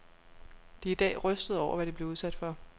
De er i dag rystede over, hvad de blev udsat for.